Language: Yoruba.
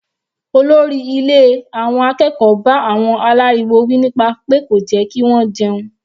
Olórí ilé àwọn akẹ́kọ̀ọ́ bá àwọn aláriwo wí nípa pé kò jẹ́ kí wọ́n jẹun.